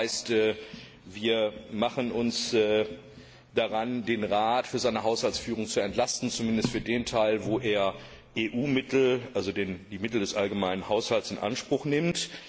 Das heißt, wir machen uns daran, den Rat für seine Haushaltsführung zu entlasten, zumindest für den Teil, wo er EU Mittel also die Mittel des allgemeinen Haushalts in Anspruch nimmt.